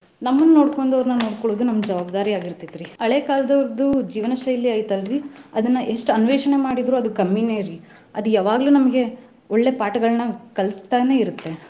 ನಮ್ಮನ್ ನೋಡ್ಕೊಂಡವ್ನ್ರ ನೋಡ್ಕೊಳೋದು ನಮ್ ಜವಾಬ್ದಾರಿ ಆಗಿರ್ತೆತ್ರಿ. ಹಳೆ ಕಾಲದವರ್ದು ಜೀವನ ಶೈಲಿ ಐತ್ ಅಲ್ರಿ ಅದನ್ನ ಎಷ್ಟ್ ಅನ್ವೇಷಣೆ ಮಾಡಿದ್ರು ಅದು ಕಮ್ಮಿನೆರಿ ಅದ್ ಯಾವಾಗ್ಲೂ ನಮಗೆ ಒಳ್ಳೆ ಪಾಠಗಳನ್ನ ಕಲಸ್ತಾನೆ ಇರುತ್ತೆ.